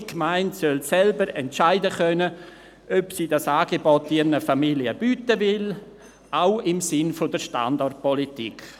Jede Gemeinde soll selber entscheiden können, ob sie dieses Angebot ihren Familien bieten will, auch im Sinne der Standortpolitik.